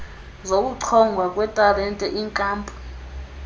zokuchongwa kwetalente iinkampu